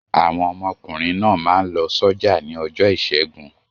Àwọn ọmọkùnrin náà máa ń lọ sọ́jà ní ọjọ́ ìṣẹ́gun.